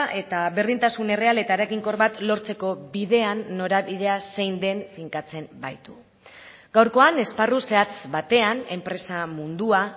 eta berdintasun erreal eta eraginkor bat lortzeko bidean norabidea zein den finkatzen baitu gaurkoan esparru zehatz batean enpresa mundua